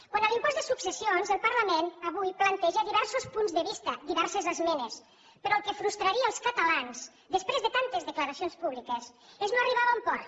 quant a l’impost de successions el parlament avui planteja diversos punts de vista diverses esmenes però el que frustraria els catalans després de tantes declaracions públiques és no arribar a bon port